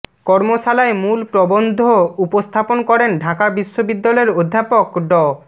কর্মশালায় মূল প্রবন্ধ উপস্থাপন করেন ঢাকা বিশ্ববিদ্যালয়ের অধ্যাপক ড